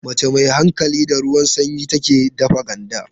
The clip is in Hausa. Mace mai hankali, da ruwan sanyi take dafa ganda.